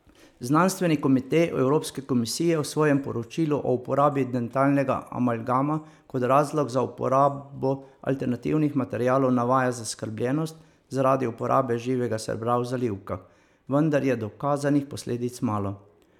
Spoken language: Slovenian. Znanstveni komite Evropske komisije v svojem poročilu o uporabi dentalnega amalgama kot razlog za uporabo alternativnih materialov navaja zaskrbljenost zaradi uporabe živega srebra v zalivkah, vendar je dokazanih posledic malo.